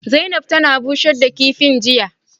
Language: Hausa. Zaina rana bushe kifin jiya